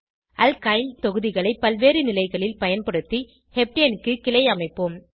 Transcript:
alkyl தொகுதிகளை பல்வேறு நிலைகளில் பயன்படுத்தி ஹெப்டேன் க்கு கிளை அமைப்போம்